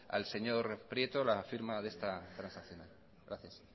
al señor prieto la firma de esta transaccional gracias